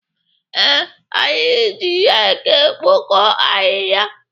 Ee, anyị ji reki ekpoko ahịhịa.